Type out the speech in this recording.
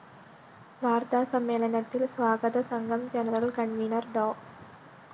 വാര്‍ത്താ സമ്മേളനത്തില്‍ സ്വാഗതസംഘം ജനറൽ കണ്‍വീനര്‍ ഡോ